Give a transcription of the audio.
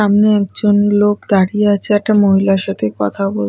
সামনে একজন লোক দাঁড়িয়ে আছে একটা মহিলার সাথে কথা বোল--